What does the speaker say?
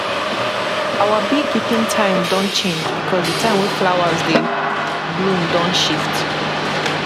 our beekeeping time don time don change because the time wey flowers dey bloom don shift